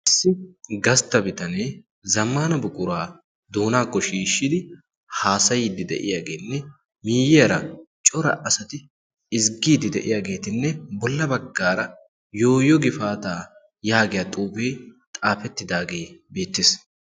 Issi gastta bitanee zammana buquraa doonaakko shiishshidi haasayiiddi de'iyaageenne miiyiyaara cora asati ezggiiddi de'iyaageetinne bolla baggaara yooyo gifaataa yaagiya xuufee xaafettidaagee beettees.